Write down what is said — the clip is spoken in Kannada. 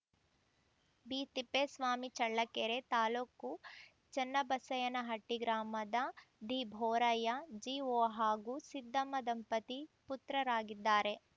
ಬಿ ತಿಪ್ಪೇಸ್ವಾಮಿ ಚಳ್ಳಕೆರೆ ತಾಲುಕು ಚನ್ನಬಸಯ್ಯನಹಟ್ಟಿಗ್ರಾಮದ ದಿ ಬೋರಯ್ಯ ಜಿ ಒ ಹಾಗೂ ಸಿದ್ದಮ್ಮ ದಂಪತಿ ಪುತ್ರರಾಗಿದ್ದಾರೆ